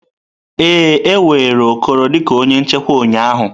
Ee, e were Okoro dị ka onye nchekwa ụnyaahụ.